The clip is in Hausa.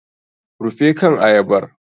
Rufe kan ayabar!